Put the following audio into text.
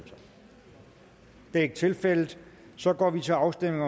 det er ikke tilfældet så går vi til afstemning